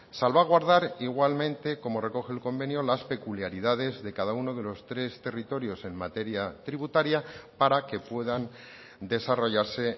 salvaguardar igualmente como recoge el convenio las peculiaridades de cada uno de los tres territorios en materia tributaria para que puedan desarrollarse